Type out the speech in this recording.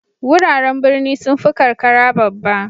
Wuraren birni sun fi karkara babba.